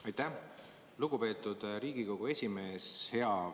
Aitäh, lugupeetud Riigikogu esimees!